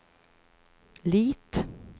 Lit